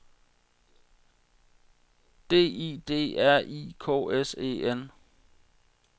D I D R I K S E N